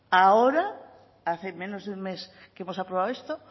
ahora hace menos de un mes que hemos aprobado esto